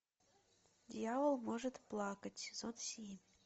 дьявол может плакать сезон семь